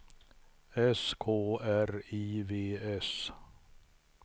S K R I V S